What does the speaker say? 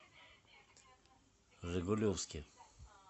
жигулевске